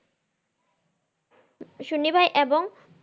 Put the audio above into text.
সুনিভাই এবং